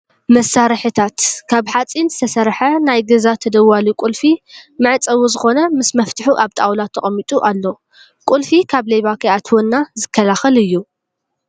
መሳሪሒታት፦ ካብ ሓፂን ዝተሰርሒ ናይገዛ ተደዋሊ ቁልፊ መዕፀዊ ዝኮነ ምስ መፍትሑ ኣብ ጣውላ ተቀሚጡ ኣሎ። ቁልፊ ካብ ሌባ ከይኣትወና ዝከላከል እዩ።